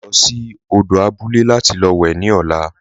A yóò lọ sí òdò àbúlẹ̀ láti wè ni ọ̀là.